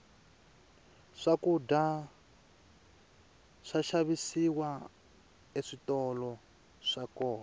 swakudya swa xavisiwa eswitolo swa kona